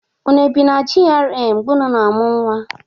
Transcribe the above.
Unu ebi na GRA mgbe unu na-amụ nnwa?